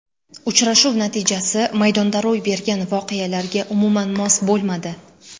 Uchrashuv natijasi maydonda ro‘y bergan voqealarga umuman mos bo‘lmadi.